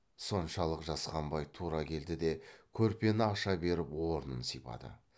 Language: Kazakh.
соншалық жасқанбай тура келді де көрпені аша беріп орнын сипады